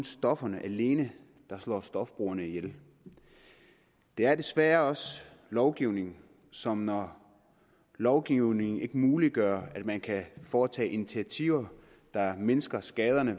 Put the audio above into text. stofferne alene der slår stofbrugerne ihjel det er desværre også lovgivningen som når lovgivningen ikke muliggør at man kan foretage initiativer der mindsker skaderne